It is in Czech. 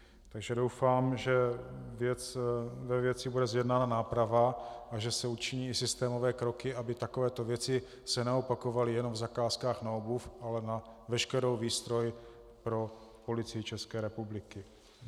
Takže doufám, že ve věci bude zjednána náprava a že se učiní systémové kroky, aby takovéto věci se neopakovaly jenom v zakázkách na obuv, ale na veškerou výstroj pro Policii České republiky.